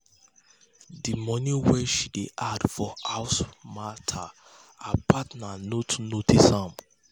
the money wey she dey add for house matter her partner no too notice am.